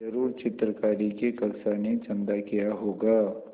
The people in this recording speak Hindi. ज़रूर चित्रकारी की कक्षा ने चंदा किया होगा